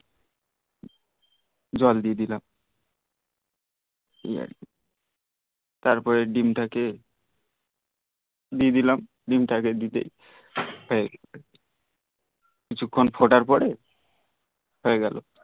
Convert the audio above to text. জল দিয়ে দিলাম এই আর কি তারপরে ডিম টা কে দিয়ে দিলাম ডিম তাকে দিতেই এই কিছুখন ফোটার পরে হয়ে গেল